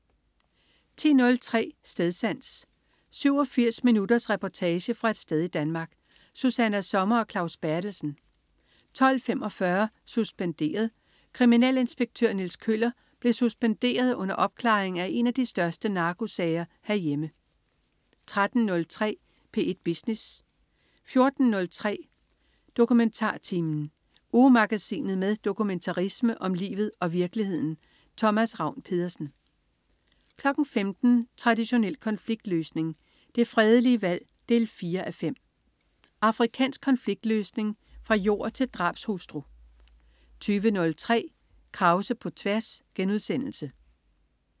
10.03 Stedsans. 87 minutters reportage fra et sted i Danmark. Susanna Sommer og Claus Berthelsen 12.45 Suspenderet. Kriminalinspektør Niels Kjøller blev suspenderet under opklaring af en af de største narkosager herhjemme 13.03 P1 Business 14.03 DokumentarTimen. Ugemagasinet med dokumentarisme om livet og virkeligheden. Thomas Ravn-Pedersen 15.00 Traditionel konfliktløsning. Det fredelige valg 4:5. Afrikansk konfliktløsning fra jord til drabshustru 20.03 Krause på tværs*